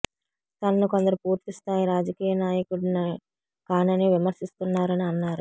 తనను కొందరు పూర్తి స్థాయి రాజకీయ నాయకుడిని కానని విమర్శిస్తున్నారని అన్నారు